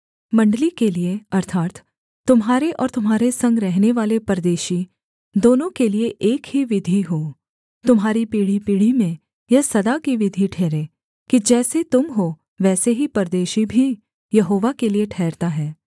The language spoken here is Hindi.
मण्डली के लिये अर्थात् तुम्हारे और तुम्हारे संग रहनेवाले परदेशी दोनों के लिये एक ही विधि हो तुम्हारी पीढ़ीपीढ़ी में यह सदा की विधि ठहरे कि जैसे तुम हो वैसे ही परदेशी भी यहोवा के लिये ठहरता है